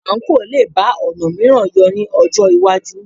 Àǹkóò lè bá ọ̀nà mìíràn yọ ní ọjọ́ iwájú